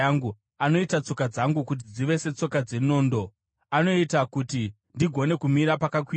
Anoita tsoka dzangu kuti dzive setsoka dzenondo; anoita kuti ndigone kumira pakakwirira.